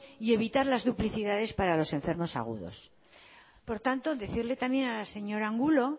y evitar las duplicidades para los enfermos agudos por tanto decirle también a la señora angulo